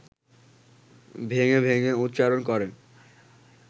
ভেঙে ভেঙে উচ্চারণ করে